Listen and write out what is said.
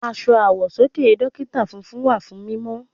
Aṣọ àwọ̀sọ́kè Dókítà funfun wà fún mímọ́.